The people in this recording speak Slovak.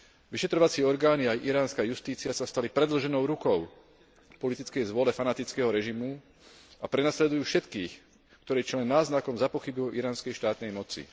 Vyšetrovacie orgány a iránska justícia sa stali predĺženou rukou politickej vôle fanatického režimu a prenasledujú všetkých, ktorí čo len náznakom zapochybujú o iránskej štátnej moci.